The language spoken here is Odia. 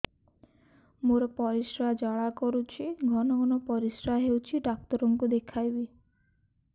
ମୋର ପରିଶ୍ରା ଜ୍ୱାଳା କରୁଛି ଘନ ଘନ ପରିଶ୍ରା ହେଉଛି ଡକ୍ଟର କୁ ଦେଖାଇବି